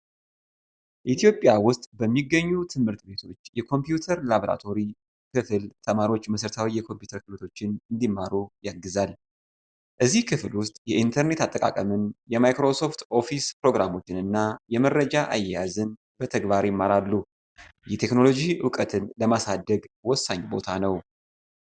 ኢትዮጵያ ውስጥ በሚገኙ ትምህርት ቤቶች የኮምፒውተር ላብራቶሪ ክፍል ተማሪዎች መሰረታዊ የኮምፒውተር ክህሎቶችን እንዲማሩ ያግዛል። እዚህ ክፍል ውስጥ የኢንተርኔት አጠቃቀምን፣ የማይክሮሶፍት ኦፊስ ፕሮግራሞችን እና የመረጃ አያያዝን በተግባር ይማራሉ። የቴክኖሎጂ እውቀትን ለማሳደግ ወሳኝ ቦታ ነው።